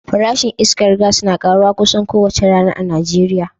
Farashin iskar gas na karuwa kusan kowace rana a Najeriya